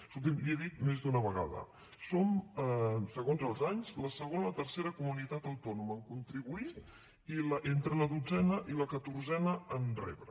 escolti’m l’hi he dit més d’una vegada som segons els anys la segona o la tercera comunitat autònoma en contribuir i entre la dotzena i la catorzena en rebre